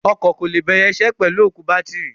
Ọkọ̀ kò lè bẹ̀rẹ̀ isẹ́ pẹ̀lú òkú bátìrì.